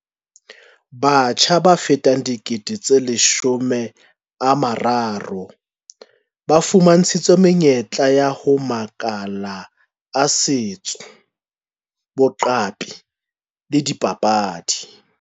Batjha ba fetang 30 000 ba fuma ntshitswe menyetla ho makala a setso, boqapi le dipapadi.